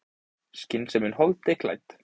Skynsemin holdi klædd.